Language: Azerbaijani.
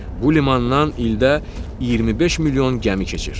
Bu limandan ildə 25 milyon gəmi keçir.